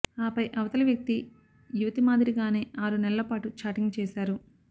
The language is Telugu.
ఆపై అవతలి వ్యక్తి యువతి మాదిరిగానే ఆరు నెలల పాటు చాటింగ్ చేశారు